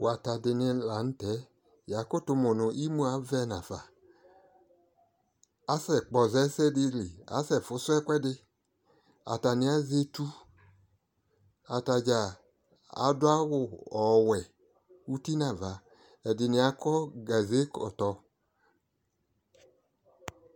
Wata di ni la nʋ tɛ Yakʋtʋ mʋ nʋ imʋ avɛ nafa Asɛkpɔza ɛsɛdi li, asɛ fʋsʋ ɛkʋɛdi Atani azɛ etu, atadza adʋ awʋ ɔwɛ, uti n'ava Ɛdini akɔ kaze kɔtɔ